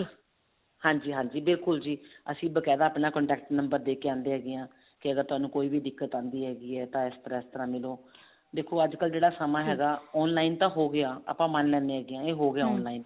ਹਾਂਜੀ ਹਾਂਜੀ ਬਿਲਕੁਲ ਜੀ ਅਸੀਂ ਬਕਾਇਦਾ ਆਪਣਾ contact number ਦੇਕੇ ਆਉਂਦੇ ਹੈਗੇ ਹਾਂ ਕੇ ਤੁਹਾਨੂੰ ਕੋਈ ਵੀ ਦਿੱਕਤ ਆਉਂਦੀ ਹੈ ਤਾਂ ਇਸ ਤਰ੍ਹਾਂ ਇਸ ਤਰ੍ਹਾਂ ਮਿਲੋ ਦੇਖੋ ਅੱਜ ਕਲ ਜਿਹੜਾ ਸਮਾ ਹੈਗਾ online ਤਾਂ ਹੋਗਿਆ ਆਪਾਂ ਮੰਨ ਲੈਂਦੇ ਇਹ online